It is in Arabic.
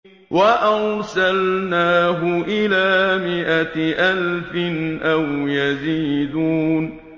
وَأَرْسَلْنَاهُ إِلَىٰ مِائَةِ أَلْفٍ أَوْ يَزِيدُونَ